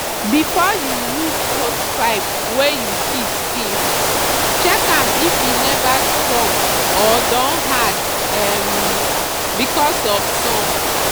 before you use hosepipe wey you keep since check am if e never strong or don hard um because of sun.